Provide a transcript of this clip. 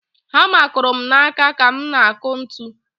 Hama kụrụ m n'aka ka m na-akụ ntu.